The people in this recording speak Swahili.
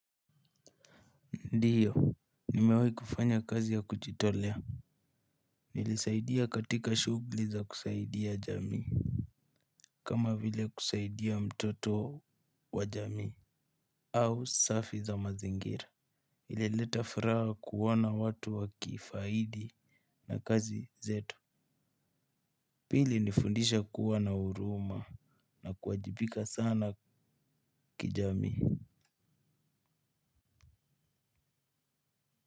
Ndiyo, nimewai kufanya kazi ya kujitolea. Nilisaidia katika shugli za kusaidia jamii. Kama vile kusaidia mtoto wa jamii au safi za mazingira. Ileleta furaha kuona watu wakifaidi na kazi zetu. Pili nifundisha kuwa na uruma na kuwajibika sana kijamii.